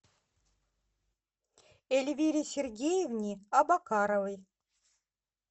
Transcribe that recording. эльвире сергеевне абакаровой